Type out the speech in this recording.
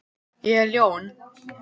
Ég er ljón.